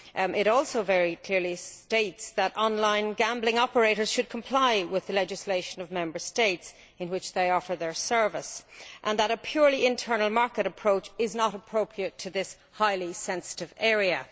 It also very clearly states that online gambling operators must comply with the legislation of Member States in which they provide their service', and that a pure internal market approach is not appropriate in this highly sensitive area'.